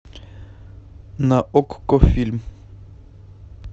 на окко фильм